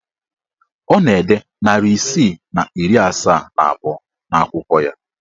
Ọ na-ede narị isii na iri asaa na abụọ n'akwụkwọ ya.